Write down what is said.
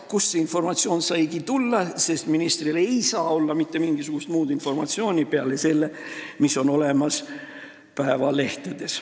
Kust see informatsioon saigi tulla, sest ministril ei saa olla mitte mingisugust muud informatsiooni peale selle, mis on olemas päevalehtedes.